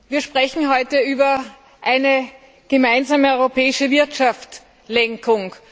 Wir sprechen heute über eine gemeinsame europäische Wirtschaftslenkung.